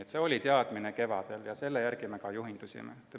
Selline oli kevadine teadmine ja sellest me ka juhindusime.